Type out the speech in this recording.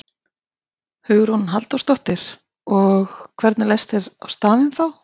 Hugrún Halldórsdóttir: Og, hvernig leist þér á staðinn þá?